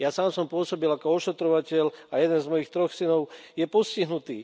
Ja sám som pôsobil ako ošetrovateľ a jeden z mojich troch synov je postihnutý.